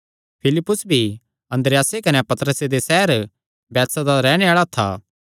फिलिप्पुस भी अन्द्रियासे कने पतरसे दे सैहर बैतसैदा दा रैहणे आल़ा था